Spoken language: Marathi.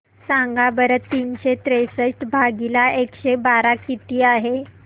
सांगा बरं तीनशे त्रेसष्ट भागीला एकशे बारा किती आहे